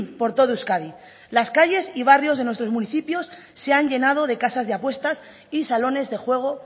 por todo euskadi las calles y barrios de nuestros municipios se han llenado de casas de apuestas y salones de juego